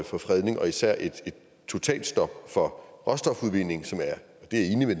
for fredning og især et totalstop for råstofudvinding som er